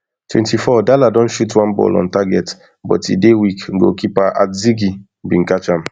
twenty-four dala don shoot one ball on target but e dey weak goalkeeper atizigi bin catch am